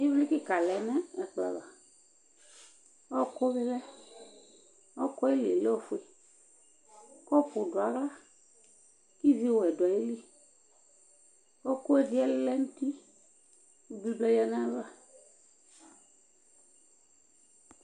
Ivli kika lɛ nu plasma Ɔwɔku lɛ ɔkuɛli lɛ ofue Kɔpu duawla kivi wɛ duayili Kɔpuɛ lɛ nuti kivli duayava